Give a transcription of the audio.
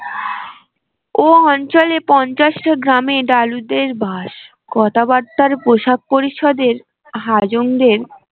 ও অঞ্চলে পঞ্চাশ টা গ্রামে ডালুদের বাস কথাবার্তারা পোষাক পরিচ্ছদের হাজং দের